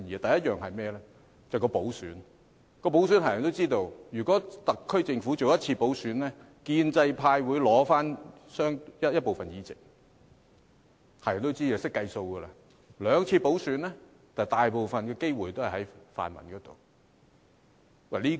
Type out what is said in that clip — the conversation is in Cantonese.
第一是補選，大家也知道，如果特區政府進行一次補選，建制派會取回部分議席，這是人所共知，大家也懂得計算。